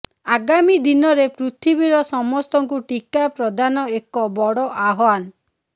ଆଗାମୀ ଦିନରେ ପୃଥିବୀର ସମସ୍ତଙ୍କୁ ଟିକା ପ୍ରଦାନ ଏକ ବଡ ଆହ୍ବାନ